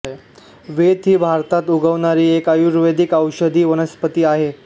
वेत ही भारतात उगवणारी एक आयुर्वेदीक औषधी वनस्पती आहे